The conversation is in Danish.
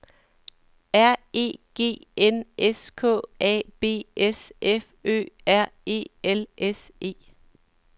R E G N S K A B S F Ø R E L S E